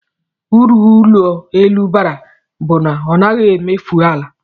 Uru ụlọelu bara bụ na ọ naghị emefu ala